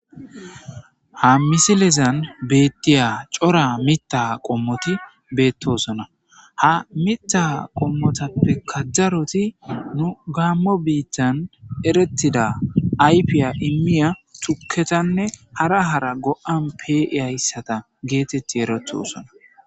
Ha misilezan beettiya cora mita qommoti beettosona ha mita qomotappe kajjaroti nu gamo biithtan erettida aypiya immiya tuketanne hara hara go'an pe'e hayssata geetetti erethosona